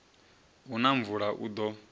hu na mvula u ḓo